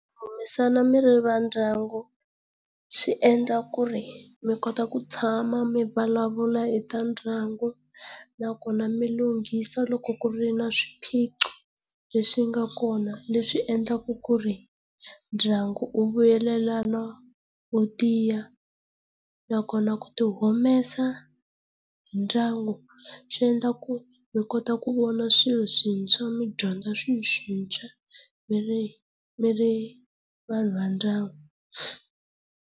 mi ri va ndyangu swi endla ku ri mi kota ku tshama mi vulavula e ta ndyangu nakona mi lunghisa loko ku ri na swiphiqo leswi nga kona leswi endlaka ku ri ndyangu wu vuyelelana wu tiya nakona ku ti humele hi ndyangu swi endla ku mi kota ku vona swilo swintshwa mi dyondza swilo swintshwa mi ri mi ri vanhu va ndyangu.